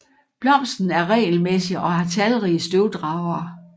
Blomsten er regelmæssig og har talrige støvdragere